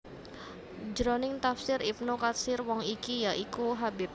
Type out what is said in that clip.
Jroning Tafsir Ibnu Katsir wong iki ya iku Habib